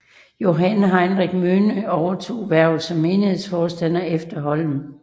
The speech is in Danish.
Johan Heinrich Møhne overtog hvervet som menighedsforstander efter Holm